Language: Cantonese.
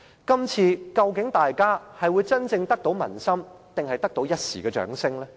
究竟大家今次真正得到民心還是一時的掌聲呢？